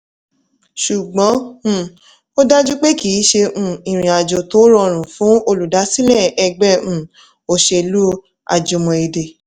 ṣùgbọ́n um ó dájú pé kì í ṣe um ìrìn-àjò tó rọrùn fún olùdásílẹ̀ ẹgbẹ́ um òṣèlú àjùmọ̀ èdè